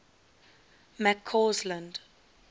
mccausland